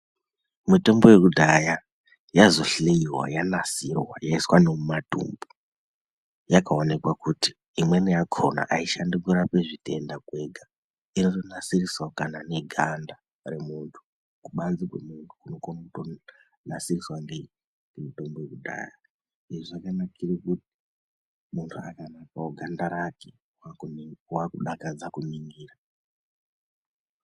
Mitombo yekudhaya yazohloiwa yaiswa nemumatumab, yakaonekwa kutivimweni yakona aishandickurapa zvitenda kwega. Inotonasirise kana neganda remuntu ,kubanze kwemuntu kunotokone kunasiriswe ngemutombo yekudhaya. Izvi zvakanakire kuti muntu akanasirwewo ganda rake ,wakudakadze kuningira .